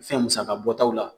Fɛn musaka bɔtaw la